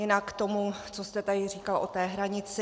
Jinak k tomu, co jste tady říkal o té hranici.